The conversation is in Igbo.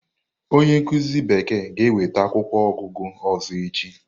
Onye nkuzi bekee ga-ewete akwụkwọ ogúgu ọzọ echi.